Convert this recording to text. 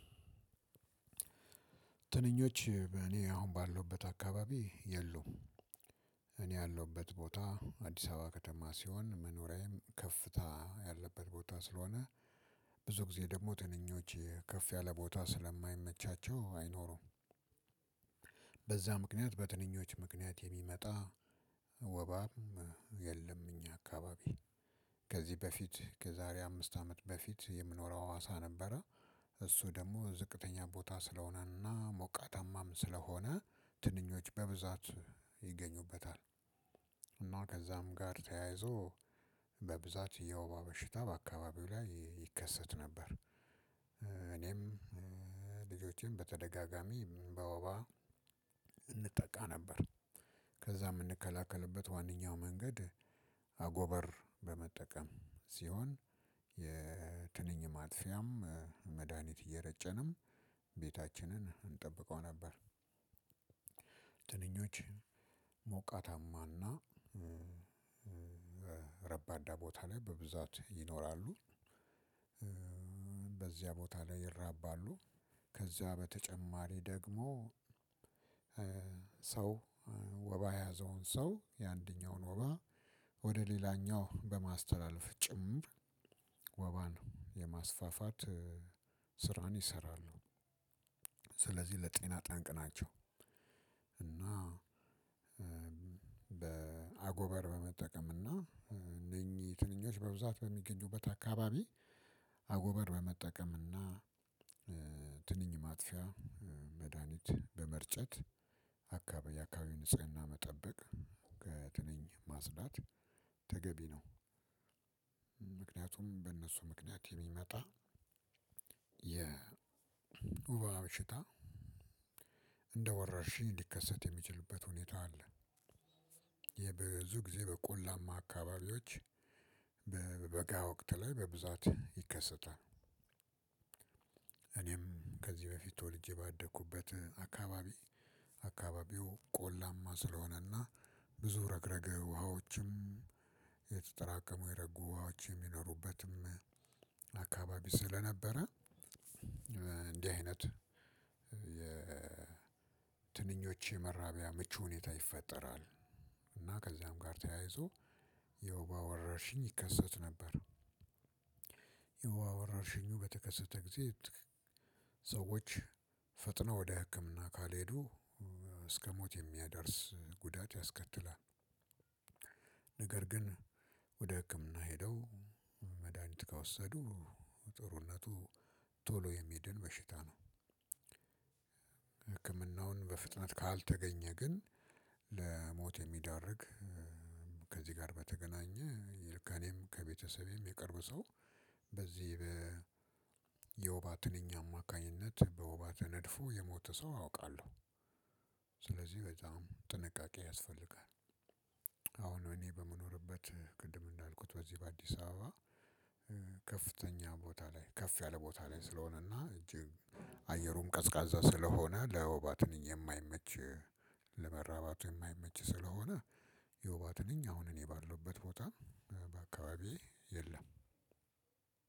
ትንኞች እኔ አሁን ባለውበት አካባቢ የሉም። እኔ ያለሁበት ቦታ አዲስ አበባ ከተማ ሲሆን መኖሪያዬም ከፍታ ያለበት ቦታ ስለሆነ። ብዙ ጊዜ ደግሞ ትንኞች ከፍ ያለ ቦታ ስለማይመቻቸው አይኖሩም። በዛ ምክንያት በትንኞች ምክንያት የሚመጣ ወባም የለም። እኛ አካባቢ ከዚህ በፊት ከዛሬ አምስት አመት በፊት የምኖረው ሀዋሳ ነበረ። እሱ ደግሞ ዝቅተኛ ቦታ ስለሆነና ሞቃታማም ስለሆነ ትንኞች በብዛት ይገኙበታል። ከዛም ጋር ተያይዞ በብዛት የወባ በሽታ በአካባቢው ላይ ይከሰት ነበር። እኔም ልጆቼን በተደጋጋሚ በወባ እንጠቃ ነበር። ከዛ የምንከላከልበት ዋነኛው መንገድ አጎበር በመጠቀም ሲሆን የትንኝ ማጥፊያም መድሃኒት እየረጨንም ቤታችንን እንጠብቀው ነበር። ትንኞች ሞቃታማ እና ረባዳ ቦታ ላይ በብዛት ይኖራሉ። በዚያ ቦታ ላይ ይራባሉ። ከዛ በተጨማሪ ደግሞ ሰው ወባ የያዘውን ሰው የአንደኛውን ወባ ወደ ሌላኛው በማስተላለፍ ጭምር ወባን የማስፋፋት ስራን ይሰራሉ። ለጤና ጠንቅ ናቸው። እና በአጎበር በመጠቀም እና እነኚህ ትንኞች በብዛት በሚገኙበት አካባቢ አጎበር በመጠቀምና ትንኝ ማጥፊያ መድሃኒት በመርጨት አካባቢ ንጽህና መጠበቅ ከትንኝ ማጽዳት ተገቢ ነው። ምክንያቱም በእነሱ ምክንያት የሚመጣ የወባ ሽታ እንደወራሽኝ ሊከሰት የሚችልበት ሁኔታ አለ። ይሄ ብዙ ጊዜ በቆላማ አካባቢዎች በበጋ ወቅት ላይ በብዛት ይከሰታል። እኔም ከዚህ በፊት ተወልጄ ባደኩበት አካባቢ አካባቢው ቆላማ ስለሆነና ብዙ ረግረግ ውሃዎችም የተጠራቀሙ የረጉ ውሃዎች የሚኖሩበትም አካባቢ ስለነበረ። እንዲህ አይነት የትንኞች የመራቢያ ምቹ ሁኔታ ይፈጠራል። እና ከዚያም ጋር ተያይዞ የወባ ወረርሽኝ ይከሰት ነበር። የወባ ወረርሽኙ በተከሰተ ጊዜ ሰዎች ፈጥነው ወደ ህክምና ካልሄዱ እስከሞት የሚያደርስ ጉዳት ያስከትላል። ነገር ግን ወደ ህክምና ሄደው መድሃኒት ከወሰዱ ጥሩነቱ ቶሎ የሚድን በሽታ ነው። ህክምናውን በፍጥነት ካልተገኘ ግን ለሞት የሚያደርግ ከዚህ ጋር በተገናኘ ከኔም ከቤተሰቤም የቅርብ ሰው በዚህ የወባ ትንኝ አማካኝነት በወባት ተነድፎ የሞተ ሰው አውቃለሁ። ስለዚህ በጣም ጥንቃቄ ያስፈልጋል። አሁን እኔ በመኖርበት ቅድም እንዳልኩት በዚህ በአዲስ አበባ ከፍተኛ ቦታ ላይ ከፍ ያለ ቦታ ላይ ስለሆነና እጅግ አየሩም ቀዝቃዛ ስለሆነ ለወባ ትንኝ የማይመች ለመራባት የማይመች ስለሆነ የወባ ትንኝ አሁን እኔ ባለውበት ቦታ በአካባቢዬ የለም።